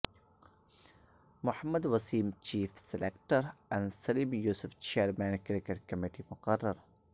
محمد Waseem chief selector اور Saleem Yousuf chairman cricket committee مقرر